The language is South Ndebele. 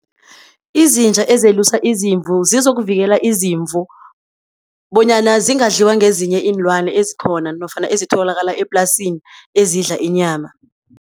Izinja ezelusa izimvu zokuvikela izimvu bonyana singadliwa ngezinye iinlwane ezikhona nofana ezitholakala eplasini ezidla inyama.